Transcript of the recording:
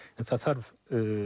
en það þarf